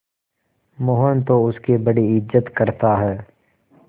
मोहन तो उसकी बड़ी इज्जत करता है